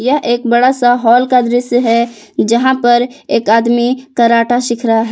यह एक बड़ा सा हॉल दृश्य है यहां पर एक आदमी कराटा सिख रहा है।